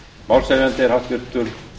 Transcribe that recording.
málshefjandi er háttvirtir